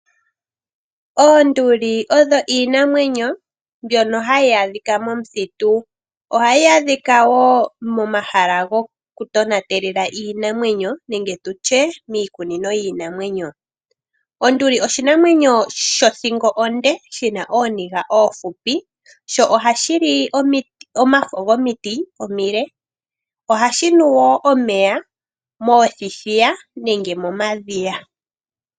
Oonduli odho iinamwenyo mbyono hayi adhika momuthitu ohayi adhika wo momahala gokutonatela iinamwenyo nenge tutye miikunino yiinamwenyo. Oshina othingo onde nooniga oonshona ohashi nu omeya moothithiya nenge momadhiya.